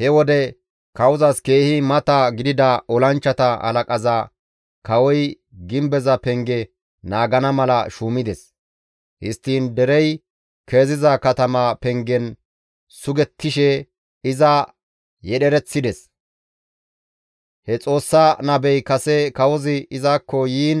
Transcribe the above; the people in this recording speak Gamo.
He wode kawozas keehi mata gidida olanchchata halaqaza kawoy gimbeza penge naagana mala shuumides; histtiin derey keziza katama pengen sugettishe iza yedhereththides. He Xoossa nabey kase kawozi izakko yiin